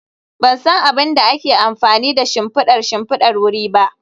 Ban san abin da ake amfani da shimfidar shimfidar wuri ba